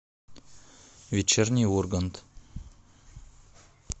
вечерний ургант